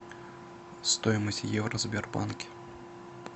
стоимость евро в сбербанке